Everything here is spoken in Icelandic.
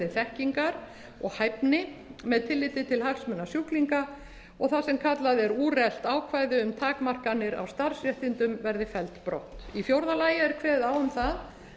þekkingar og hæfni með tilliti til hagsmuna sjúklinga og það sem kallað er úrelt ákvæði um takmarkanir á starfsréttindum verði felld brott í fjórða lagi er kveðið á um það